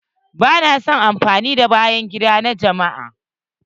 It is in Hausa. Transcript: Bana son amfani da bayan gida na jama'a.